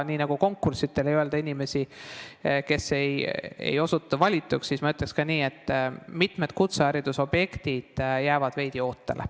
Nii nagu konkurssidel ei öelda välja inimesi, kes ei osutu valituks, ütleks ma ka nii, et mitmed kutseharidusobjektid jäävad veidi ootele.